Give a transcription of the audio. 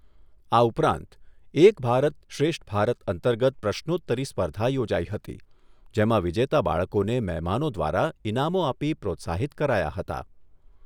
આ ઉપરાંત 'એક ભારત શ્રેષ્ઠ ભારત' અંતર્ગત પ્રશ્નોતરી સ્પર્ધા યોજાઈ હતી, જેમાં વિજેતા બાળકોને મહેમાનો દ્વારા ઈનામો આપી પ્રોત્સાહિત કરાયા હતા.